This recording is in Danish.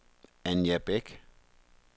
Anja Bæk